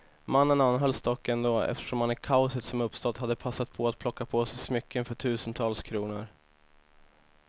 Mannen anhölls dock ändå, eftersom han i kaoset som uppstått hade passat på att plocka på sig smycken för tusentals kronor.